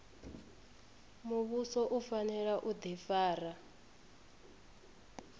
muvhuso u fanela u difara